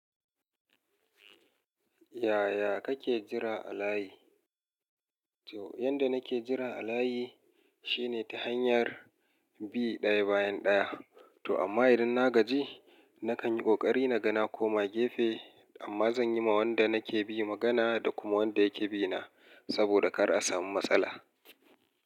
Yaya kake jira a layi? To, yanda nake jira a layi shine ta hanyar bi ɗaya bayan ɗaya. To amma idan na gaji nakan yi ƙoƙari na gana koma gefe amma zan yi ma wanda nake bi magana da kuma wanda yake bi na saboda kar a samu matsala.